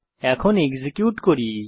এখন এক্সিকিউট করি